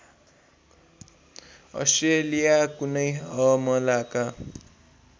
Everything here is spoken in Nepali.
अस्ट्रेलिया कुनै हमलाका